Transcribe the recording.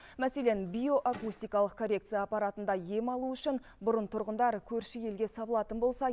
мәселен биоакустикалық коррекция аппаратында ем алу үшін бұрын тұрғындар көрші елге сабылатын болса